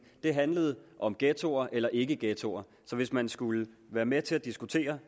det handlede om ghettoer eller ikke ghettoer så hvis man skulle være med til at diskutere